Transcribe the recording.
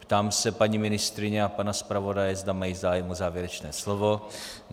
Ptám se paní ministryně a pana zpravodaje, zda mají zájem o závěrečné slovo?